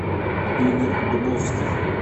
игорь дубовских